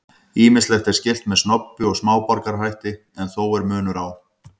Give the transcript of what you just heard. Ýmislegt er skylt með snobbi og smáborgarahætti en þó er munur á.